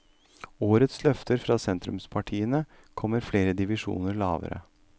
Årets løfter fra sentrumspartiene kommer flere divisjoner lavere.